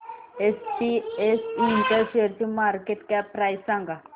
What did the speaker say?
SPS Intel शेअरची market cap price सांगा